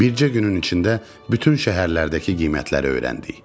Bircə günün içində bütün şəhərlərdəki qiymətləri öyrəndik.